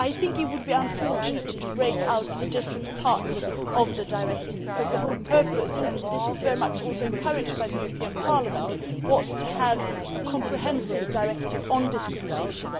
It would be unfortunate to separate the different parts of the directive because the whole purpose and this was very much also encouraged by Parliament was to have a comprehensive directive on discrimination.